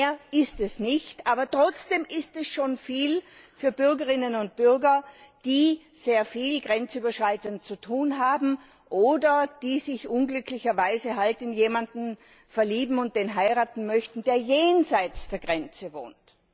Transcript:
Mehr ist es nicht, aber trotzdem ist es schon viel für Bürgerinnen und Bürger, die sehr viel grenzüberschreitend zu tun haben oder die sich unglücklicherweise in jemanden verlieben und den heiraten möchten, der jenseits der Grenze wohnt.